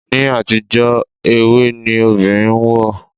Ni àtijó ewé ni obìnrin ń wọ̀.